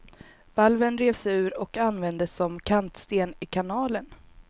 Valven revs ur och användes som kantsten i kanalen.